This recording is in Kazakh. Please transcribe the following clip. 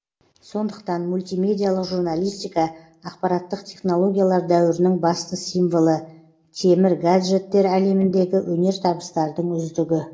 сондықтан мультимедиялық журналистика ақпараттық технологиялар дәуірінің басты символы темір гаджеттер әлеміндегі өнертабыстардың үздігі